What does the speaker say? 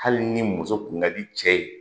Hali ni muso kun ka di cɛ ye